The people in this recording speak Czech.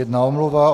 Jedna omluva.